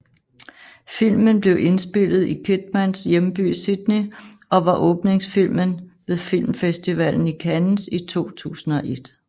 Filmen blev indspillet i Kidmans hjemby Sydney og var åbningsfilmen ved Filmfestivalen i Cannes i 2001